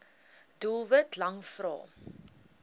doelwit lang vrae